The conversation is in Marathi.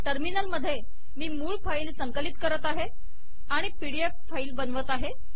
टर्मिनल मधे मी मूळ फाईल संकलित करत आहे आणि पीडी एफ फाईल बनवत आहे